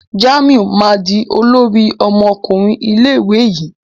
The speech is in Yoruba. Jamiu ma dì olórí ọmọkùnrin ilé ìwé yí.